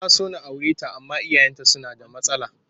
Na so na aure ta amma iyayenta suna da matsala